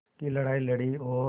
की लड़ाई लड़ी और